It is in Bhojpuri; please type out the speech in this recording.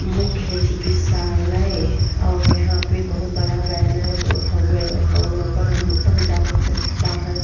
मुख्य चिकित्सालय और यहाँँ पे बहुत बड़ा बैनर हउवे ह और ऊपर अमिताभ बच्चन छपा है।